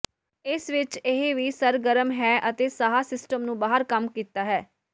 ਇਸ ਵਿਚ ਇਹ ਵੀ ਸਰਗਰਮ ਹੈ ਅਤੇ ਸਾਹ ਸਿਸਟਮ ਨੂੰ ਬਾਹਰ ਕੰਮ ਕੀਤਾ ਹੈ